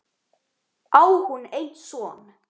Á hún einn son.